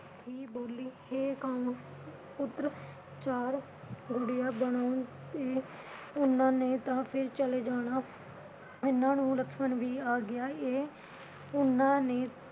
ਹੀ ਬੋਲੀ ਹੇ ਪੁੱਤ ਚਾਰ ਉਨ੍ਹਾਂ ਨੇ ਤਾਂ ਫਿਰ ਚਲੇ ਜਾਣਾ। ਇੰਨੇ ਨੂੰ ਲਕਸ਼ਮਣ ਵੀ ਆ ਗਿਆ। ਇਹ ਓਹਨਾ ਨੇ